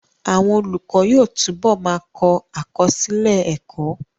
Àwọn olùkọ́ yóò túbọ̀ ma kọ àkọsílẹ̀ ẹ́kọ́